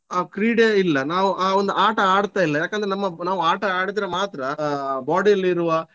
ಆ ಕ್ರೀಡೆ ಇಲ್ಲ ನಾವು ಆ ಒಂದು ಆಟ ಆಡ್ತಾ ಇಲ್ಲ ಯಾಕೆಂದ್ರೆ ನಮ್ಮ ನಾವು ಆಟ ಆಡಿದ್ರೆ ಮಾತ್ರ ಆಹ್ body ಅಲ್ಲಿರುವ.